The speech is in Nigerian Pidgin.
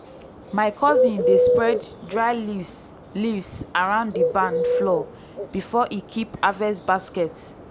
my cousin dey spread dry leaves leaves around di barn floor before e keep harvest baskets.